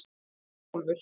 Örnólfur